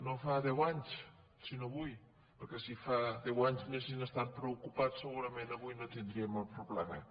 no fa deu anys sinó avui perquè si fa deu anys hi haguessin estat preocupats segurament avui no tindríem el problema